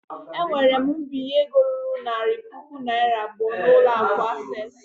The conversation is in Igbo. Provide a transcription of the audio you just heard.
Ewere m mbinye ego ruru narị puku naira abụọ n'ụlọ akụ access.